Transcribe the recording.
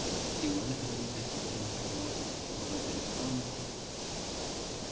и вы этого не хотите потому что такого рода реклама